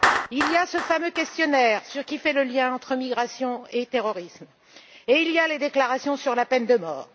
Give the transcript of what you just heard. Il y a ce fameux questionnaire, qui fait le lien entre migration et terrorisme, et il y a les déclarations sur la peine de mort.